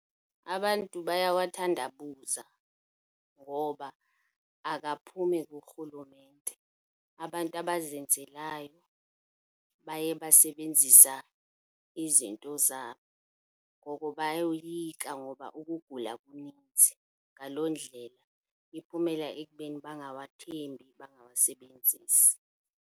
Abantu bayawathandabuza ngoba akaphumi kurhulumente. Abantu abazenzelayo baye basebenzisa izinto zabo, ngoko bayoyika ngoba ukugula kunintsi. Ngaloo ndlela iphumela ekubeni bangawathembi, bangawasebenzisi.